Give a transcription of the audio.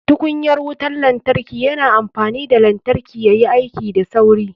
Tukunyar wutar lantarki yana amfani da lantarki yayi aiki da sauri.